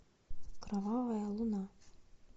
кровавая луна